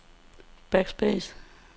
backspace